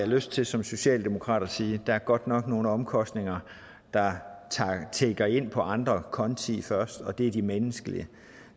lyst til som socialdemokrat at sige at der godt nok er nogle omkostninger der tikker ind på andre konti først og det er de menneskelige